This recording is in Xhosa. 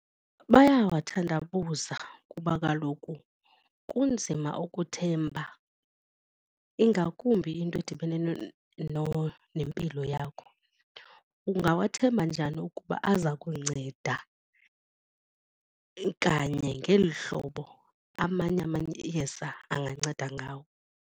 Bayawathandabuza kuba kaloku kunzima ukuthemba ingakumbi into edibene nempilo yakho. Ungawathemba njani ukuba aza kunceda kanye ngeli hlobo amanye amayeza anganceda ngawo.